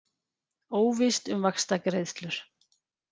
Óvíst um vaxtagreiðslur